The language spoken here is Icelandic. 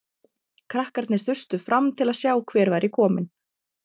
Krakkarnir þustu fram til að sjá hver væri kominn.